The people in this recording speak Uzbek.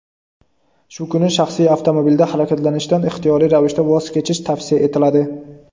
Shu kuni shaxsiy avtomobilda harakatlanishdan ixtiyoriy ravishda voz kechish tavsiya etiladi.